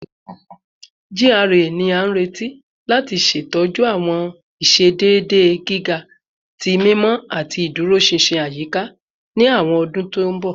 GRA ni a nireti lati ṣetọju awọn iṣedede giga ti mimọ ati iduroṣinṣin ayika ni awọn ọdun to nbọ